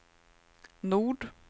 Nord